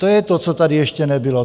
To je to, co tady ještě nebylo.